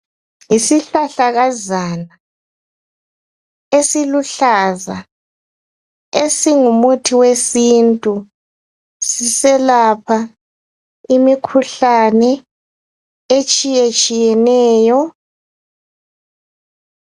Yisihlahlakazana esiluhlaza esingumuthi wesintu siselapha imikhuhlane etshiye tshiyeneyo.